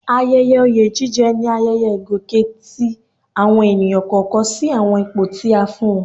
Ayẹyẹ oyè jíjẹ ni ayẹyẹ ìgòkè tí àwọn ènìyàn kọ̀ọ̀kan sí àwọn ipò tí a fún wọn